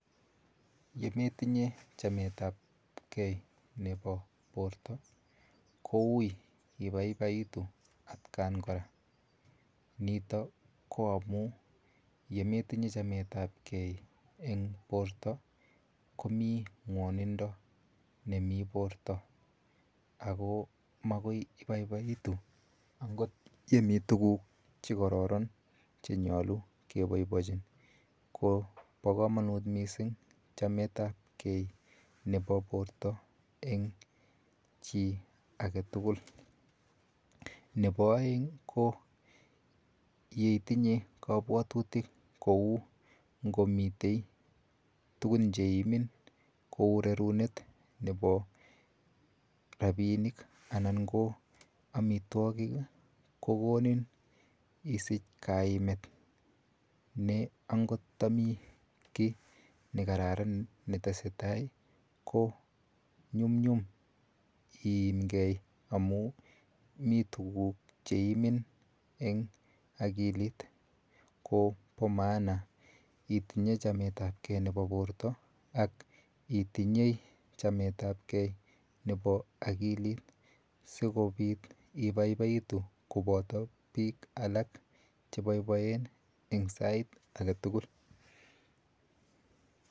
Yemetinye chamet ap kee nepo borto koui ipaipaitu atkan kora nito ko amu yemetinye chamet ap kee eng Porto komi ngwonindo nemi Porto akoi makoi ipaipaitu angot yemi tukuk chekororon chenyolu kepoipoichi ko po komonut mising chamet ap kee nepo borto eng chii ake tukul nepo oeng ko yeitinye kopwotutick kou ngomitei tukun cheimin cheu rerunet chepo ropinik anan ko amitwokik kokonin isich kainet ne angot tami kiy nekararan netesetai ko nyum nyum iimkei amu Mii tukuk cheimin eng akilit ko po maana itinye chamet ap kee nepo borto ak itinye chamet apkee nepo akilit sikopit ipaipaitu kopoto piik alak chepoipoen en sait aketukul